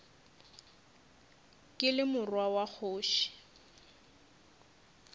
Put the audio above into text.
ke le morwa wa kgoši